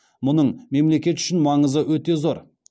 мұның мемлекет үшін маңызы өте зор